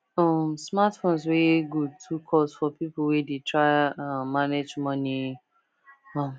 um smartphones wey good too cost for people wey dey try um manage money um